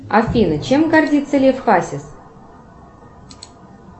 афина чем гордится лев хасис